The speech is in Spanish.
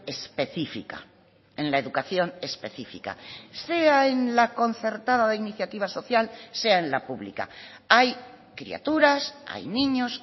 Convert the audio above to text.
específica en la educación específica sea en la concertada de iniciativa social sea en la pública hay criaturas hay niños